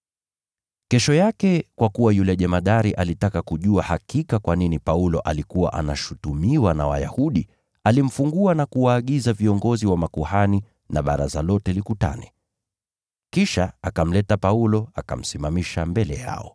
Kesho yake, kwa kuwa yule jemadari alitaka kujua hakika kwa nini Paulo alikuwa anashutumiwa na Wayahudi, alimfungua, na akawaagiza viongozi wa makuhani na baraza lote likutane. Kisha akamleta Paulo, akamsimamisha mbele yao.